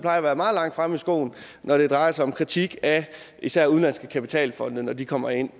at være meget langt fremme i skoene når det drejer sig om kritik af især udenlandske kapitalfonde når de kommer ind